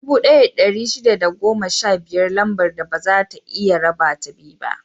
Dubu ɗaya da ɗari shida da goma sha biyar Lambar da baza a iya rabata biyu ne.